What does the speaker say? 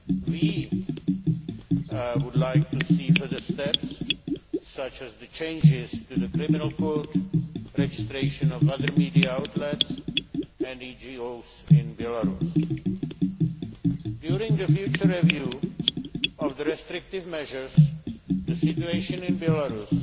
We would like see further steps, such as the changes to the criminal court, registration of other media outlets and NGOs in Belarus. During the future review of the restrictive measures, the situation in Belarus